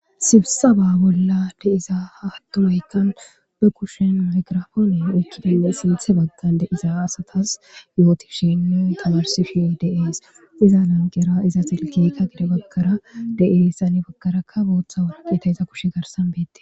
Sibssaba bolan de'iza attumayikan bekushshen mayigrapone oykkidinne sinththe bagan de'iza asatas yottishinne tamarisishe de'esi eza lanqeraka eza silkey gedebagara de'es hanni baggara boththa warakatey iza kushe garsan bettess.